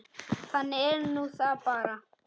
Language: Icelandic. Þannig er nú það bara.